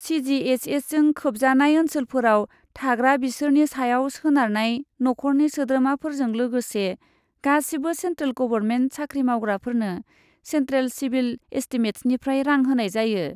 सि जि एइस एसजों खोबजानाय ओनसोलफोराव थाग्रा बिसोरनि सायाव सोनारनाय नखरनि सोद्रोमाफोरजों लोगोसे गासिबो सेन्ट्रेल गभरमेन्ट साख्रि मावग्राफोरनो सेन्ट्रेल सिभिल एस्टिमेट्सनिफ्राय रां होनाय जायो।